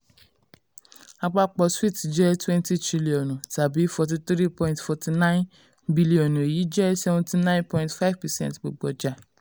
àpapọ̀ swoots jẹ́ twenty triliọ̀nù tàbí forty three point four nine bílíọ̀nù èyí jẹ́ seventy nine point five percent gbogbo ọjà.